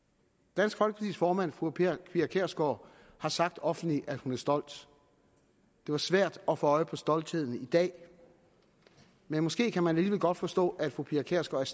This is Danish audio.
dansk folkepartis formand fru pia kjærsgaard har sagt offentligt at hun er stolt det var svært at få øje på stoltheden i dag men måske kan man alligevel godt forstå at fru pia kjærsgaard